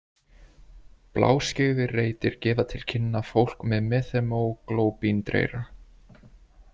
Bláskyggðir reitir gefa til kynna fólk með methemóglóbíndreyra.